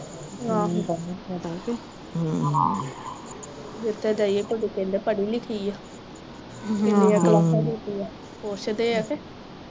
ਆਹੋ ਜਿੱਥੇ ਦੀਏ ਕੁੜੀ ਕਹਿੰਦੇ ਪੜੀ ਲਿਖੀ ਆ ਕਿੰਨੀਆਂ ਕਲਾਸਾਂ ਕੀਤੀ ਆ ਪੁੱਛਦੇ ਆ ਕੇ